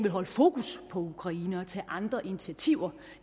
holde fokus på ukraine og tage andre initiativer